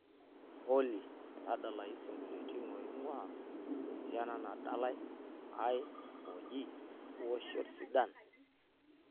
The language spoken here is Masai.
olly tadalayu isingolioitin oing'uaa esiana nadalae ai ooji ioshot sidain